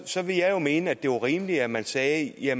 så vil jeg mene at det var rimeligt at man sagde at